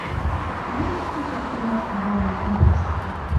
можешь включить киношку жанра фантастика